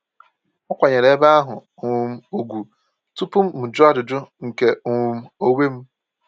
Akwanyeere ebe ahụ um ugwu tupu m jụọ ajụjụ nke um onwe m.